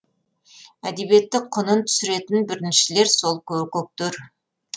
әдебиетті құнын түсіретін біріншіден сол көкектер